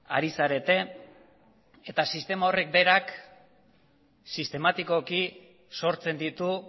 ari zarete eta sistema horrek berak sistematikoki sortzen ditu